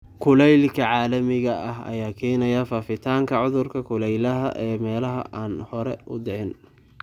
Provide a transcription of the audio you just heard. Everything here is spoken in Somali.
Kulaylka caalamiga ah ayaa keenaya faafitaanka cudurrada kulaylaha ee meelaha aan hore u dhicin.